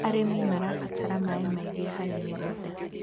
arĩmi marabatara maĩ maĩngi harĩ mĩgũnda